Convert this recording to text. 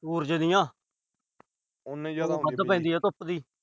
ਸੂਰਜ ਦੀਆਂ। ਧੁੱਪ ਦੀ।